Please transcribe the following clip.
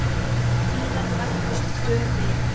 Síðar bættust tvö við.